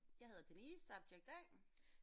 Jeg hedder Denise subject A